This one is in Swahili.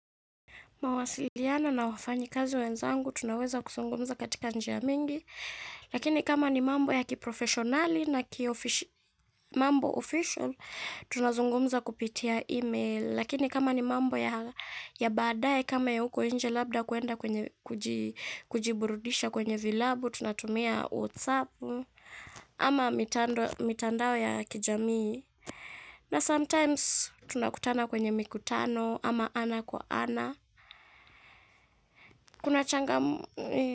Mawasiliano na wafanyi kazi wenzangu tunaweza kuzungumza katika njia mingi, lakini kama ni mambo ya kiprofeshonali na mambo official, tunazungumza kupitia email, lakini kama ni mambo ya baadae kama ya uko nje labda kuenda kujiburudisha kwenye vilabu, tunatumia watsapu ama mitandao ya kijamii. Na sometimes tunakutana kwenye mikutano ama ana kwa ana. Kuna changa m.